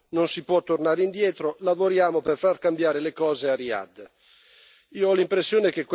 Ormai il voto c'è stato, non si può tornare indietro, lavoriamo per far cambiare le cose a Riyadh.